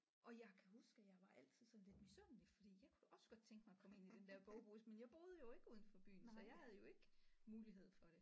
Og jeg kan huske at jeg var altid sådan lidt misundelig fordi jeg kunne da også godt tænke mig at komme ind i den der bogbus men jeg boede jo ikke uden for byen så jeg havde jo ikke mulighed for det